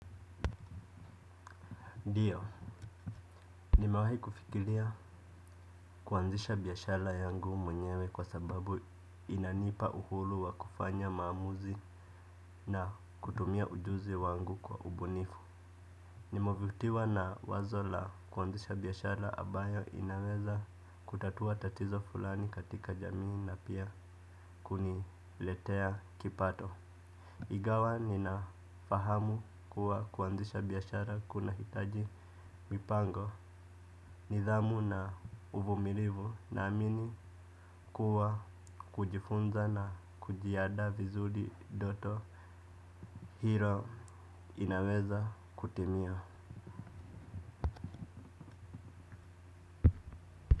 Ndio nimewahi kufikiria kuanzisha biashara yangu mwenyewe kwa sababu inanipa uhuru wa kufanya maamuzi na kutumia ujuzi wangu kwa ubunifu. Nimevutiwa na wazo la kuanzisha biashara ambayo inaweza kutatua tatizo fulani katika jamii na pia kuniletea kipato. Ingawa ninafahamu kuwa kuanzisha biashara kunahitaji mipango nidhamu na uvumilivu naamini kuwa kujifunza na kujiandaa vizuri ndoto. Hilo inaweza kutimia.